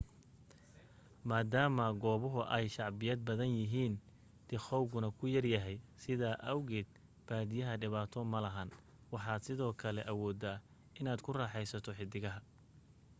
maadaama goobahu ay shacbiyad badanyihiin dikhawguna ku yaryahay sidaa awgeed badiyaa dhibaato malahan waxaad sidoo kale awoodaa inaad ku raaxaysato xidigaha